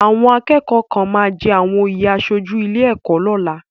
Àwọn akẹ́kọ̀ọ́ kan máa jẹ àwọn oyè aṣojú ilé ẹ̀kọ́ lọ́la.